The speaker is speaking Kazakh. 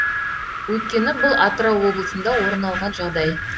өйткені бұл атырау облысында орын алған жағдай